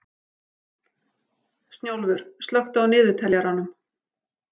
Snjólfur, slökktu á niðurteljaranum.